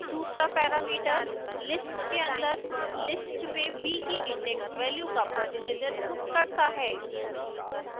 दूसरा parameter list के अंदर list में b की index value का प्रतिनिधित्व करता है